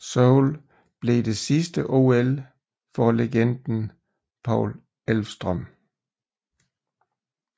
Seoul blev det sidste OL for legenden Paul Elvstrøm